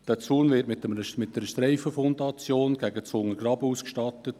Dieser Zaun wird mit einer Streifenfundation gegen das Untergraben ausgestattet.